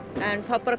en þá